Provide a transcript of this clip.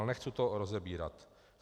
Ale nechci to rozebírat.